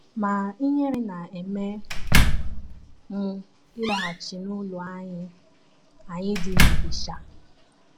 Ma ihere na - eme m ịlaghachi n’ụlọ anyị anyị dị n’Ilesha.